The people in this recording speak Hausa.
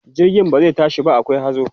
jirgin ba zai tashi ba akwai hazo